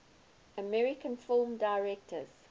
american film directors